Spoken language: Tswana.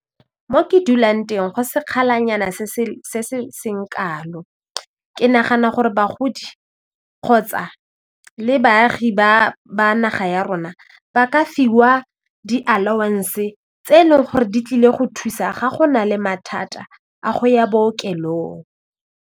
Mo ke dulang teng go sekgalanyana se se seng kalo, ke nagana gore bagodi kgotsa le baagi ba naga ya rona ba ka fiwa di allowance tse e leng gore di tlile go thusa ga go na le mathata a go ya bookelong.